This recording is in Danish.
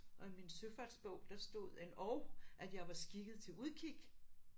Og i min søfartsbog der stod end og at jeg var skikket til udkig